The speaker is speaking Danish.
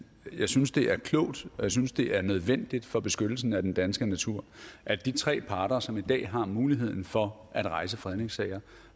at jeg synes det er klogt og synes det er nødvendigt for beskyttelsen af den danske natur at de tre parter som i dag har muligheden for at rejse fredningssager